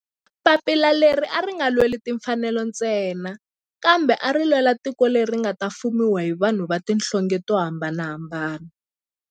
Papila leri a ri nga lweli timfanelo ntsena kambe ari lwela tiko leri nga ta fumiwa hi vanhu va tihlonge to hambanahambana.